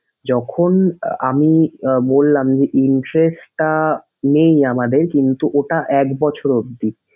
যখন আমি আহ বললাম যে in case তা নেই আমাদের কিন্তু ওটা এক বছর অবধি।